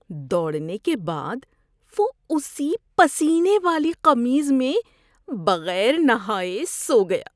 دوڑنے کے بعد وہ اسی پسینے والی قمیص میں بغیر نہائے سو گیا۔